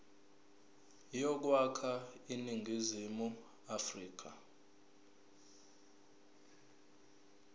yokwakha iningizimu afrika